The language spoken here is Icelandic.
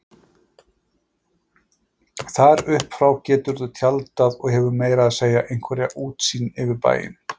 Þar upp frá geturðu tjaldað og hefur meira að segja einhverja útsýn yfir bæinn